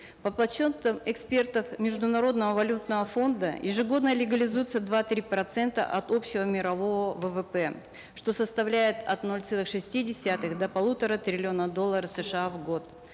по подсчетам экспертов международного валютного фонда ежегодно легализуются два три процента от общего мирового ввп что составляет от нуля целых шестидесятых до полутора триллиона долларов сша в год